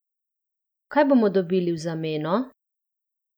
Kaj bomo dobili v zameno?